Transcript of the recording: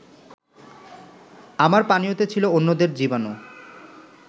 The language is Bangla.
আমার পানীয়তে ছিল অন্যদের জীবাণু